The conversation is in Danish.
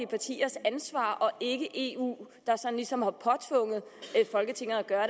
partiers ansvar og ikke eu der sådan ligesom har påtvunget folketinget at gøre